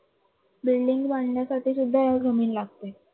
building बांधायसाठी सुद्धा जमीन लागते.